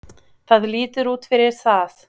Það lítur út fyrir það.